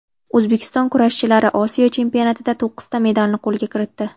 O‘zbekiston kurashchilari Osiyo chempionatida to‘qqizta medalni qo‘lga kiritdi.